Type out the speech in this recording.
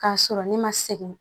K'a sɔrɔ ne ma segɛn